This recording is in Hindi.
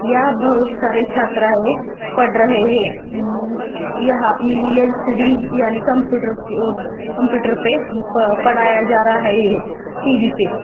या बहुत सारे छात्र है पढ़ रहे है यम यह एल सी डी यानी कंप्यूटर कंप्यूटर पर पढ़ाया जा रहा है टी वी पे--